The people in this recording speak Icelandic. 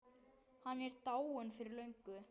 Hann er dáinn fyrir löngu.